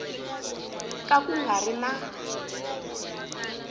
ka ku nga ri na